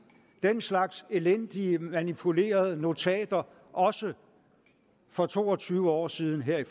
den slags elendige manipulerede notater også for to og tyve år siden her i